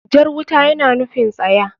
Jar wuta yana nufin tsaya.